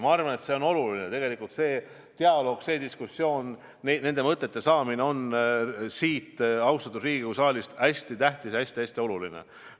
Ma arvan, et see on oluline – see dialoog, see diskussioon, mõtete saamine siit, austatud Riigikogu saalist, on hästi tähtis, hästi-hästi oluline.